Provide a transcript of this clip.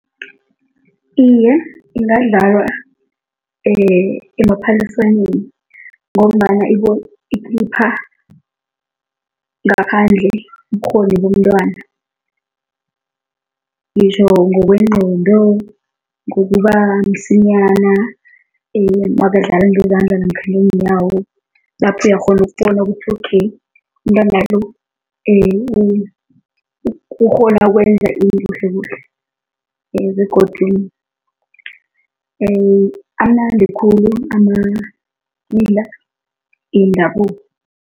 Iye, ingadlalwa emaphaliswaneni ngombana ikhipha ngaphandle ubukghoni bomntwana, ngitjho ngokwengqondo, ngokuba msinyana nakadlala ngezandla namkha ngeenyawo, lapho uyakghona ukubona ukuthi okay, umntwana lo, ukghona ukwenza ini kuhlekuhle begodu amnandi khulu wendabuko.